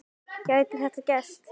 Gæti þetta gerst?